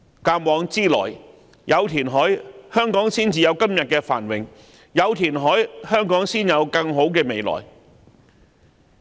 鑒往知來，有填海，香港才有今天的繁榮；有填海，香港才有更好的未來。